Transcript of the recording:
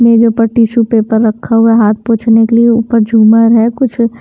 मेरे जो ऊपर टिशू पेपर रखा हुआ है हाथ पोंछने के लिए ऊपर झूमर है कुछ--